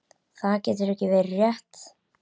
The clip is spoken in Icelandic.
Það getur ekki verið rétt.